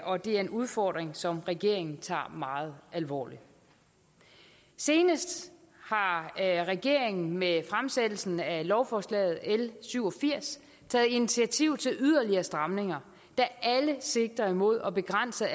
og det er en udfordring som regeringen tager meget alvorligt senest har regeringen med fremsættelsen af lovforslaget l syv og firs taget initiativ til yderligere stramninger der alle sigter imod at begrænse